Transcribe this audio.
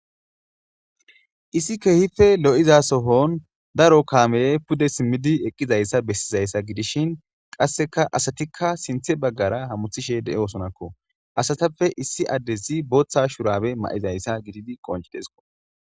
issi kehife lo7iza sohon daro kaame pude simmidi eqqizayssa bessizayssa gidishin qasseka asatikka sinthe baggara hamuthishe de7e osonakko asatappe issi addesi booththa shurabe ma7izayssa gididi qoncidesko